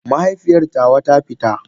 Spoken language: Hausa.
Mahaifiyar tawa ta fita.